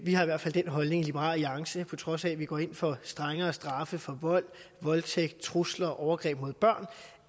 har i hvert fald den holdning i liberal alliance på trods af at vi går ind for strengere straffe for vold voldtægt trusler og overgreb mod børn